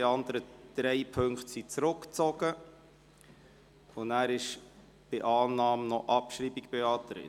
Die anderen drei Punkte sind zurückgezogen, und dann ist bei Annahme noch Abschreibung beantragt.